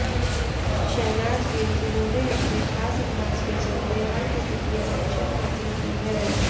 शहनाज गिल जिन्होंने अपने खास अंदाज के चलते हर किसी की अटेंशन हासिल की है